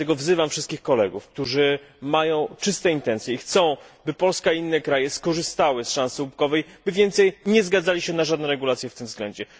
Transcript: Dlatego wzywam wszystkich kolegów, którzy mają czyste intencje i chcą, by Polska i inne kraje skorzystały z szansy łupkowej, by więcej nie zgadzali się na żadne regulacje w tym względzie.